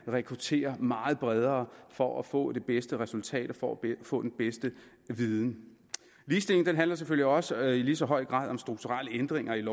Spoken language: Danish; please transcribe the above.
rekruttere meget bredere for at få det bedste resultat og for at få den bedste viden ligestilling handler selvfølgelig også i lige så høj grad om strukturelle ændringer i